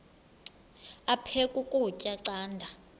aphek ukutya canda